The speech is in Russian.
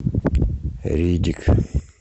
риддик